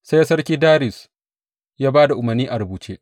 Sai Sarki Dariyus ya ba da umarnin a rubuce.